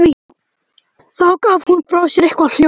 Þá gaf hún frá sér eitthvert hljóð.